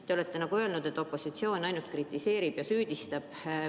Te olete öelnud, et opositsioon ainult kritiseerib ja süüdistab.